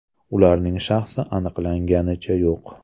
Ularning shaxsi aniqlanganicha yo‘q.